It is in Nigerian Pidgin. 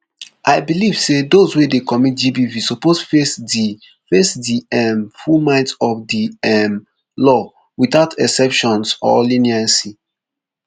i believe say those wey dey commit gbv suppose face di face di um full might of the um law without exceptions or leniency